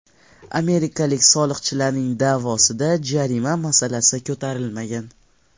Amerikalik soliqchilarning da’vosida jarima masalasi ko‘tarilmagan.